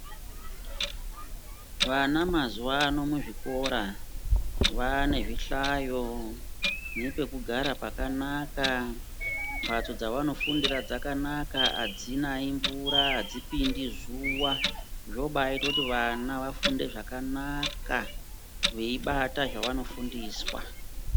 Vana mazuvano muzvikora vaanezvihlayo nepekugara pakanaka. Mbatso dzavanofundira dzakanaka, hadzinayi mvura, hadzipindi zuva. Zvobaaite kuti vana vafunde zvakanaka veibata zvavanofundiswa